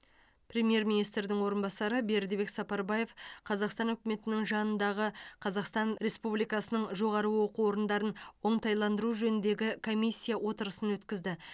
премьер министрдің орынбасары бердібек сапарбаев қазақстан үкіметінің жанындағы қазақстан республикасының жоғары оқу орындарын оңтайландыру жөніндегі комиссия отырысын өткізді